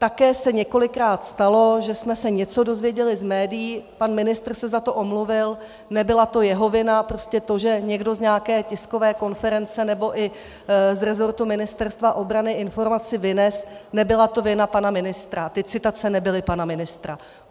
Také se několikrát stalo, že jsme se něco dozvěděli z médií, pan ministr se za to omluvil, nebyla to jeho vina, prostě to, že někdo z nějaké tiskové konference nebo i z resortu Ministerstva obrany informaci vynesl, nebyla to vina pana ministra, ty citace nebyly pana ministra.